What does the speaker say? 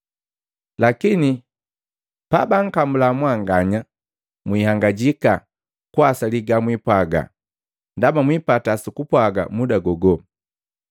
Lakini pabankamula mwanganya, mwihangajika kuwasali gamwiipwaga, ndaba mwipata sukupwaga muda gogo.